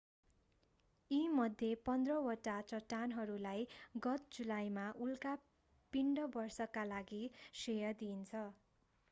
यी मध्ये पन्ध्र वटा चट्टानहरूलाई गत जुलाईमा उल्का पिण्ड वर्षाका लागि श्रेय दिइन्छ